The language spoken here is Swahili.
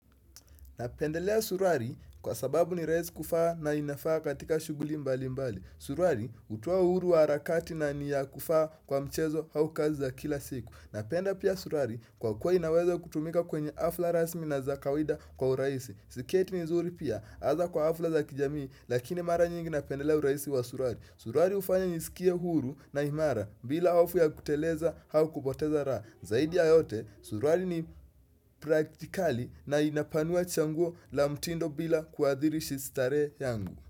Napendelea suruali kwa sababu ni rahisi kuvaa na inafaa katika shughuli mbali mbali. Suruali hutuoa uhuru wa harakati na ni ya kuvaa kwa mchezo au kazi za kila siku. Napenda pia suruali kwa kuwa inaweza kutumika kwenye hafla rasmi na za kawida kwa urahisi. Siketi ni nzuri pia hasa kwa hafla za kijamii lakini mara nyingi napendelea urahisi wa suruali. Suruali hufanya nisikie huru na imara bila hofu ya kuteleza au kupoteza raha. Zaidi ya yote suruali ni praktikali na inapanua chaguo la mtindo bila kuadhiri shi starehe yangu.